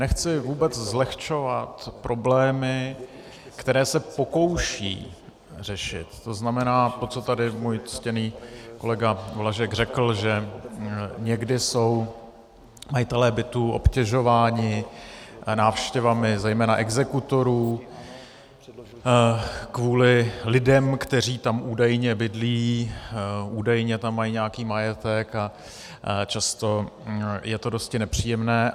Nechci vůbec zlehčovat problémy, které se pokouší řešit, to znamená to, co tady můj ctěný kolega Blažek řekl, že někdy jsou majitelé bytů obtěžováni návštěvami zejména exekutorů kvůli lidem, kteří tam údajně bydlí, údajně tam mají nějaký majetek, a často je to dosti nepříjemné.